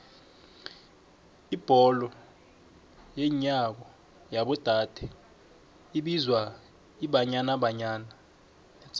ibholo yenyawo yabo dade ibizwa ibanyana banyana